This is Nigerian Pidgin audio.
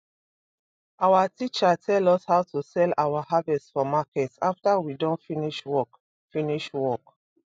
our teacher tell us how to sell our harvest for market after we don finish work finish work